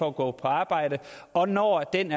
at gå på arbejde og når den